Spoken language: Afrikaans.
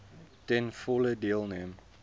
ten volle deelneem